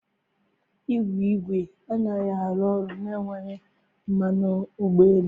Igwe igwe anaghị arụ ọrụ na-enweghị mmanụ ụgbọala.